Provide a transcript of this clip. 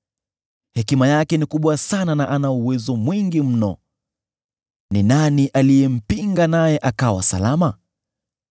Hekima yake ni kubwa sana na ana uwezo mwingi mno. Ni nani aliyempinga naye akawa salama?